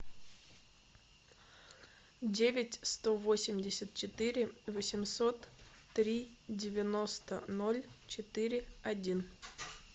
девять сто восемьдесят четыре восемьсот три девяносто ноль четыре один